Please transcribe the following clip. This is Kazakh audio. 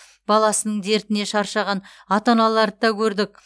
баласының дертіне шаршаған ата аналарды да көрдік